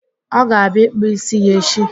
Ọ ga-abịa ịkpụ ísí ya echi.